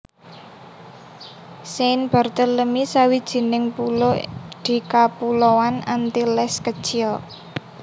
Saint Barthélemy sawijining pulo di Kapuloan Antilles Kecil